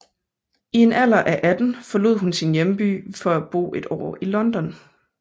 I en alder af atten forlod hun sin hjemby for at bo et år i London